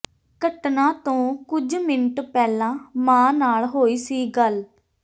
ਘਟਨਾ ਤੋਂ ਕੁਝ ਮਿੰਟ ਪਹਿਲਾਂ ਮਾਂ ਨਾਲ ਹੋਈ ਸੀ ਗੱਲ